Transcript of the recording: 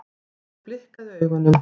Ég blikkaði augunum.